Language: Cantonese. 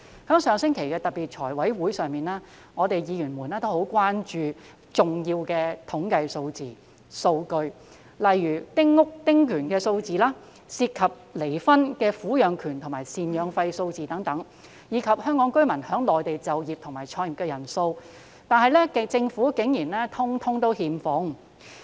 在上星期的財務委員會特別會議上，議員很關注一些重要的統計數字和數據，例如丁屋和丁權的數字，涉及離婚的撫養權及贍養費數字，以及香港居民在內地就業和創業的人數，但政府竟然全部欠奉。